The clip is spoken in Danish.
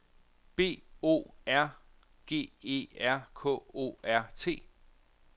B O R G E R K O R T